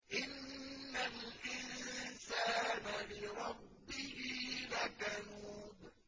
إِنَّ الْإِنسَانَ لِرَبِّهِ لَكَنُودٌ